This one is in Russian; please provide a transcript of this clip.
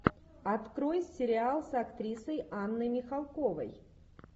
открой сериал с актрисой анной михалковой